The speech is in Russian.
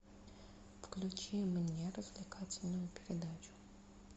включи мне развлекательную передачу